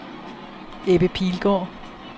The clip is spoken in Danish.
Ebbe Pilgaard